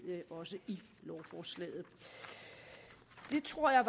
i lovforslaget det tror jeg